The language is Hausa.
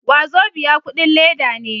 Wazobia kudin leda ne.